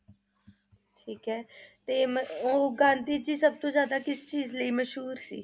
ਠੀਕ ਏ ਤੇ ਮ~ ਉਹ ਗਾਂਧੀ ਜੀ ਸਬ ਤੋਂ ਜ਼ਿਆਦਾ ਕਿਸ ਚੀਜ਼ ਲਈ ਮਸ਼ਹੂਰ ਸੀ?